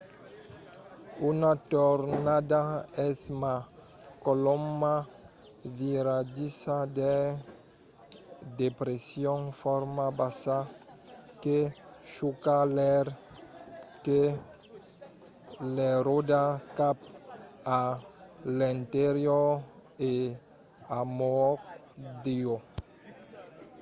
una tornada es una colomna viradissa d’aire de pression fòrça bassa que chuca l’aire que l'enròda cap a l'interior e amondaut